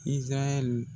Izayɛli